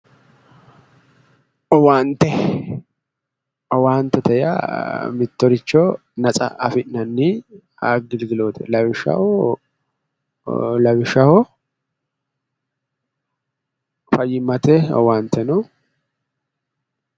owaante owaantete yaa mittoricho natsa afi'nanniricho lawishshaho fayyimmate owaante no.